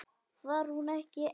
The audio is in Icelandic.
Var hún ekki ein?